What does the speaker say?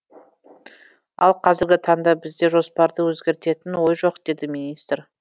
ал қазіргі таңда бізде жоспарды өзгертетін ой жоқ деді министр